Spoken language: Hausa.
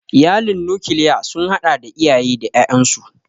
Iyalin nokilya sun hada da iyaye da ƴaƴansu.